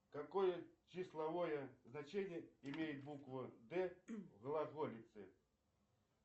какое числовое значение имеет буква д в глаголице